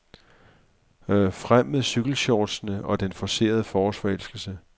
Frem med cykelshortsene og den forcerede forårsforelskelse.